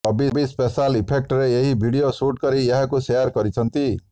Bobby special ଇଫେକ୍ଟରେ ଏକ video shoot କରି ଏହାକୁ ସେୟାର କରିଛନ୍ତି